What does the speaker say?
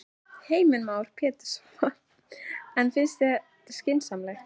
Heimir Már Pétursson: En finnst þér það skynsamlegt?